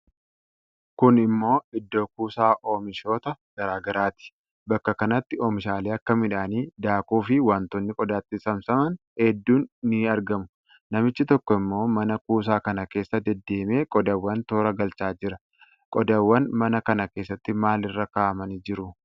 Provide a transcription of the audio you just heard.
Kun ammoo iddoo kuusaa oomishoota garaa garaati. Bakka kanatti oomishaalee akka midhaanii, daakuu fi wantoonni qodaatti saamsaman hedduun ni argamu. Namichi tokko ammoo mana kuusaa kana keessa daddeemee qodaawwan toora galchaa jira. Qodaawwan mana kana keessatti maal irra kaa'amanii jiru?